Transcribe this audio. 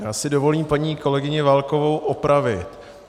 Já si dovolím paní kolegyni Válkovou opravit.